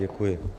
Děkuji.